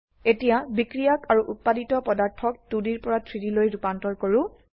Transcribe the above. এতিয়া বিক্ৰিয়াক আৰু উত্পাদিত পদাৰ্থ ক 2Dৰ পৰা 3Dলৈ ৰুপান্তৰ কৰো